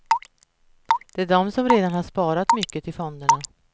Det är de som redan har sparat mycket i fonderna.